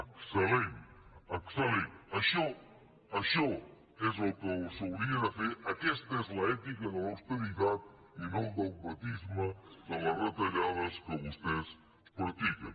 excel·lent excel·això això és el que s’hauria de fer aquesta és l’ ètica de l’austeritat i no el dogmatisme de les retallades que vostès practiquen